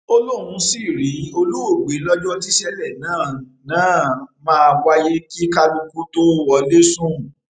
ó lóun sì rí olóògbé lọjọ tíṣẹlẹ náà náà máa wáyé kí kálukú tóo wọlé sùn